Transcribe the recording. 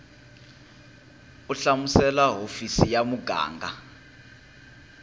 u hlamusela hofisi ya muganga